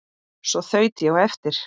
Svo þaut ég á eftir